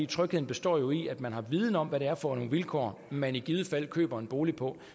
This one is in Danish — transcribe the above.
trygheden består jo i at man har viden om hvad det er for nogle vilkår man i givet fald køber en bolig på